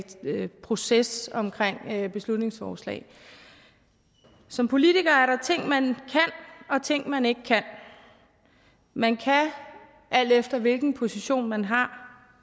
proces omkring beslutningsforslag som politiker er der ting man kan og ting man ikke kan man kan alt efter hvilken position man har